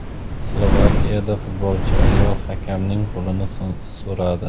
Slovakiyada futbolchi ayol hakamning qo‘lini so‘radi.